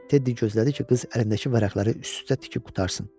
Teddi gözlədi ki, qız əlindəki vərəqləri üst-üstə tikib qurtarsın.